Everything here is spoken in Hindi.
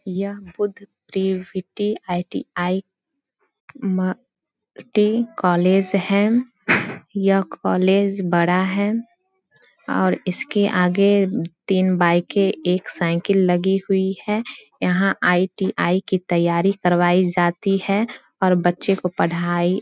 यह बुद्ध परिविटी आई.टी.आई. माँ टी कॉलेज है। यह कॉलेज है बड़ा है और इसके आगे तीन बाइके एक साइकिल लगी हुई है। यहाँ आई.टी.आई. की तैयारी करवाई जाती है और बच्चे को पढ़ाई --